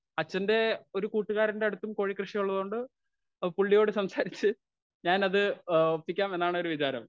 Speaker 1 അച്ഛന്റെ ഏ ഒരു കൂട്ടുകാരന്റെ അടുത്തും കോഴിക്കൃഷി ഉള്ളതുകൊണ്ട് പുള്ളിയോട് സംസാരിച്ചു ഞാൻ അത് ഒപ്പിക്കാമെന്നാണൊരു വിചാരം.